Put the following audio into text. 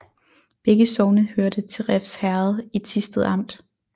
Begge sogne hørte til Refs Herred i Thisted Amt